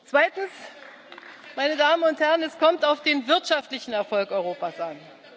Zweitens, meine Damen und Herren, kommt es auf den wirtschaftlichen Erfolg Europas an.